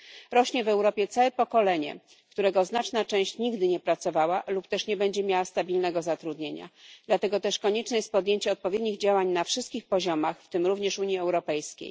Rośnie w Europie całe pokolenie, którego znaczna część nigdy nie pracowała lub nie będzie miała stabilnego zatrudnienia, dlatego też konieczne jest podjęcie odpowiednich działań na wszystkich poziomach, w tym również Unii Europejskiej.